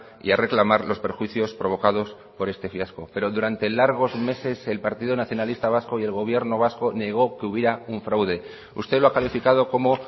y a reclamar los perjuicios provocados por este fiasco pero durante largos meses el partido nacionalista vasco y el gobierno vasco negó que hubiera un fraude usted lo ha calificado como